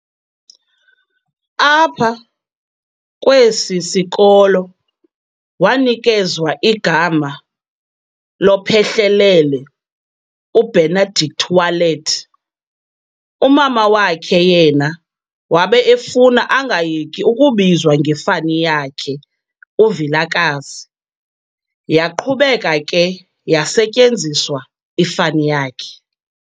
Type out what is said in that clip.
Apha kwesi sikolo wanikezwa igama lophehlelele u"Benedict Wallet", umama wakhe yena wabe efuna angayeki ukubizwa ngefani yakhe u"Vilakazi", yaqhubeka ke yasetyenziswa ifani yakhe.